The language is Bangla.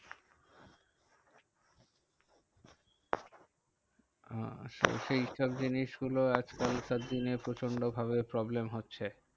আহ সেই সব জিনিস গুলো আজকাল কার দিনে প্রচন্ড ভাবে problem হচ্ছে।